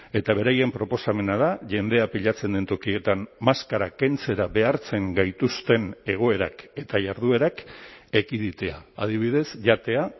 eta beraien proposamena da jendea pilatzen den tokietan maskara kentzera behartzen gaituzten egoerak eta jarduerak ekiditea adibidez jatea